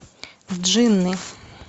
джинны